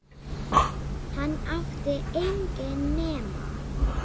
Hann átti enginn nema